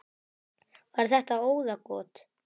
Var þetta óðagot?